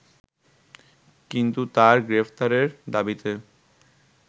কিন্তু তার গ্রেপ্তারের দাবিতে